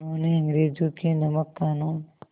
उन्होंने अंग्रेज़ों के नमक क़ानून